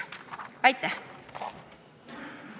Aitäh!